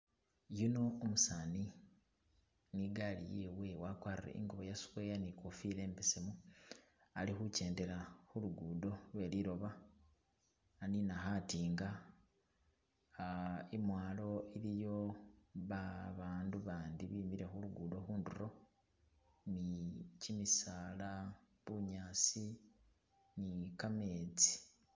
Yuno umusani ni gali yewe wagwarile ingubo ya square ni kofila imbesemu ali khujendela khulugudo lweliloba anina khadinga, imwalo iliyo babandu bandi bimile khu lugudo khunduro ni kyi misaala bunyaasi ni kha metsi